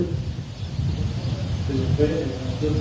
Hver málaði myndina Beinin hennar stjörnu?